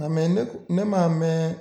Nka mɛ ne kɔ ne m'a mɛn